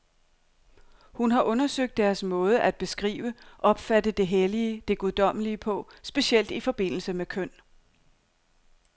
Hun har undersøgt deres måde at beskrive, opfatte det hellige, det guddommelige på, specielt i forbindelse med køn.